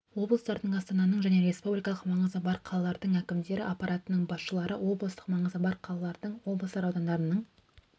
облыстардың астананың және республикалық маңызы бар қалалардың әкімдері аппараттарының басшылары облыстық маңызы бар қалалардың облыстар аудандарының